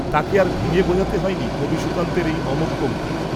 তাকে আর ভেঙে বোঝাতে হয়নি কবি সুকান্তের এই অমোঘ পঙক্তি